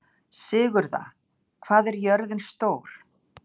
Sigurða, hvað er jörðin stór?